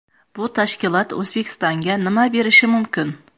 Bu tashkilot O‘zbekistonga nima berishi mumkin?.